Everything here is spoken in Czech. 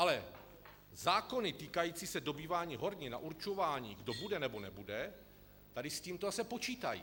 Ale zákony týkající se dobývání hornin a určování, kdo bude nebo nebude, tady s tímto zase počítají.